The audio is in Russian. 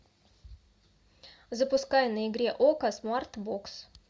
запускай на игре окко смарт бокс